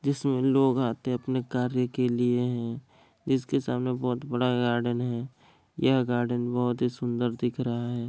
जिसमे लोग आते है अपने कार्य के लिए है जिसके सामने बोहत बड़ा गार्डन है यह गार्डन बोहत ही सुन्दर दिख रहा है।